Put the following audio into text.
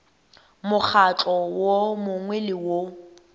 mokgatlo wo mongwe le wo